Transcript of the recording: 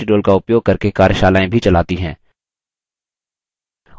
spoken tutorials का उपयोग करके कार्यशालाएँ भी चलाती है